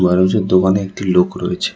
আর ওই যে দোকানে একটি লোক রয়েছে।